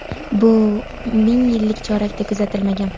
bu ming yillik chorakda kuzatilmagan.